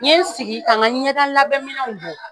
N ye n sigi ka n ka ɲɛda labɛn minɛw bɔ.